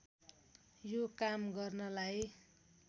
यो काम गर्नलाई